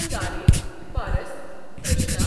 Angarey, Paras, Trishna,